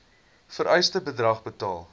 vereiste bedrag betaal